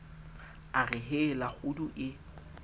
a re hela kgudu e